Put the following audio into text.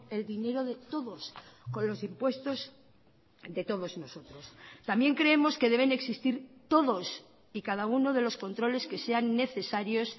el dinero de todos con los impuestos de todos nosotros también creemos que deben existir todos y cada uno de los controles que sean necesarios